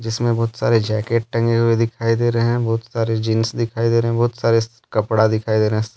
जिसमें बहुत सारे जैकेट टंगे हुए दिखाई दे रहे हैं बहुत सारे जींस दिखाई दे रहे हैं बहुत सारे कपड़ा दिखाई दे रहा है।